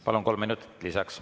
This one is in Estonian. Palun, kolm minutit lisaks.